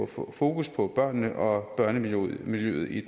få fokus på børnene og børnemiljøet i